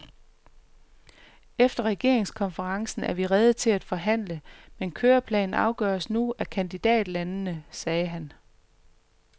Efter regeringskonferencen er vi rede til at forhandle, men køreplanen afgøres nu af kandidatlandene, sagde han.